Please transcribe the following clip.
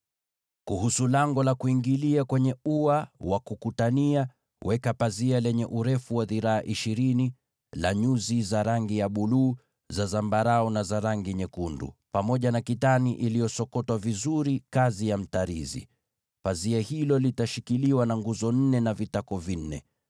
“Kuhusu ingilio la ua, weka pazia lenye urefu wa dhiraa ishirini la nyuzi za rangi ya buluu, za zambarau, na za rangi nyekundu pamoja na kitani iliyosokotwa vizuri, kazi ya mtarizi. Pazia hilo litashikiliwa na nguzo nne na vitako vinne.